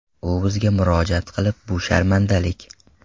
U bizga murojaat qilib, ‘bu sharmandalik.